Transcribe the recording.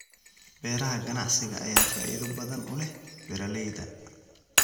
Beeraha ganacsiga ayaa faa'iido badan u leh beeralayda.